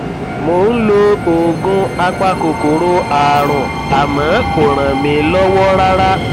mo ń lo oògùn apakòkòrò ààrùn àmọ kò ràn mí lọwọ rárá